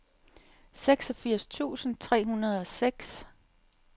seksogfirs tusind tre hundrede og seks